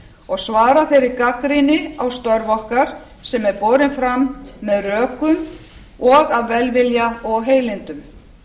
og svara þeirri gagnrýni á störf okkar sem er borin fram með rökum og af velvilja og heilindum